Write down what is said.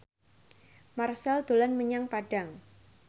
Marchell dolan menyang Padang